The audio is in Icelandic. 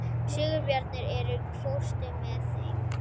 Sigurbjarni, ekki fórstu með þeim?